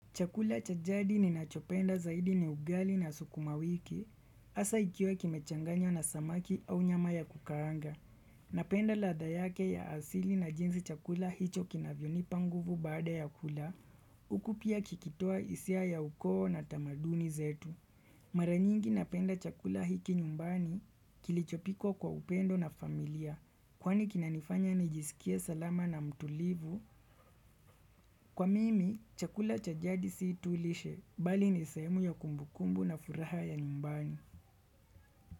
Chakula cha jadi ninachopenda zaidi ni ugali na sukuma wiki, asa ikiwa kimechanganywa na samaki au nyama ya kukaanga. Napenda ladha yake ya asili na jinsi chakula hicho kinavyo nipa nguvu baada ya kula, uku pia kikitoa hisia ya ukoo na tamaduni zetu. Mara nyingi napenda chakula hiki nyumbani kilichopikwa kwa upendo na familia, kwani kinanifanya nijisikie salama na mtulivu. Kwa mimi, chakula cha jadi si tu lishe, bali ni sehemu ya kumbukumbu na furaha ya nyumbani.